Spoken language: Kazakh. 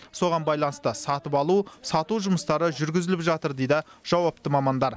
соған байланысты сатып алу сату жұмыстары жүргізіліп жатыр дейді жауапты мамандар